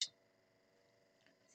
TV 2